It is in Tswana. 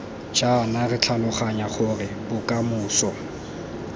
jaana re tlhaloganya gore bokamoso